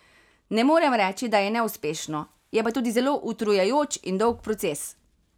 Ne morem reči, da neuspešno, je pa to zelo utrujajoč in dolg proces.